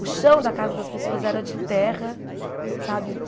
O chão da casa das pessoas era de terra, sabe?